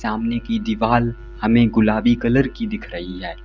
अमने की दीवाल हमें गुलाबी कलर की दिख रही है।